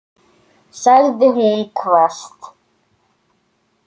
sagði hún hvasst.